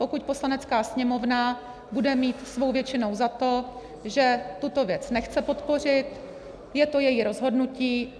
Pokud Poslanecká sněmovna bude mít svou většinou za to, že tuto věc nechce podpořit, je to její rozhodnutí.